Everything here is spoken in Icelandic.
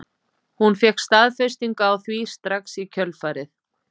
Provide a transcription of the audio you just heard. Hún fékk staðfestingu á því strax í kjölfarið.